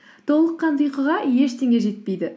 толық қанды ұйқыға ештеңе жетпейді